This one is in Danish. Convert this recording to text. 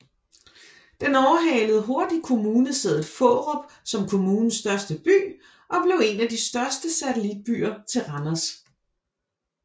Den overhalede hurtigt kommunesædet Fårup som kommunens største by og blev en af de største satellitbyer til Randers